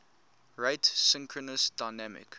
rate synchronous dynamic